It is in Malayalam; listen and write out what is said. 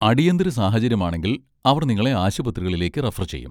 അടിയന്തര സാഹചര്യമാണെങ്കിൽ അവർ നിങ്ങളെ ആശുപത്രികളിലേക്ക് റഫർ ചെയ്യും.